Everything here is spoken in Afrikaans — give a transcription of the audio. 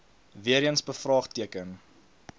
weer eens bevraagteken